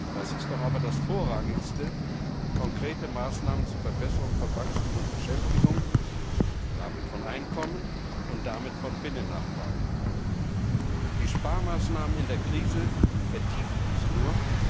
Das ist doch aber das Vorrangigste konkrete Maßnahmen zur Verbesserung von Wachstum und Beschäftigung, damit von Einkommen und damit von Binnennachfrage. Die Sparmaßnahmen in der Krise vertiefen diese nur.